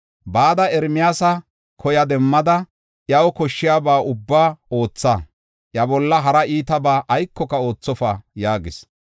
“Bada Ermiyaasa koya demmada, iyaw koshshiyaba ubbaa ootha; iya bolla hara iitabaa aykoka oothofa” yaagis.